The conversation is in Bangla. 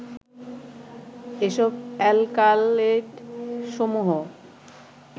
এসব অ্যালকালয়েডসমূহ